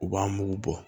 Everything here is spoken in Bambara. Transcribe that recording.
U b'an mugu bɔ